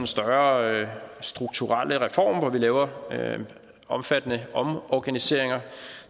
større strukturelle reform hvor vi laver omfattende omorganiseringer